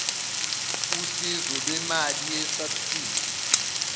usizo lwemali yesabsidi